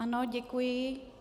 Ano, děkuji.